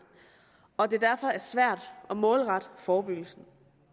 og at det derfor er svært at målrette forebyggelsen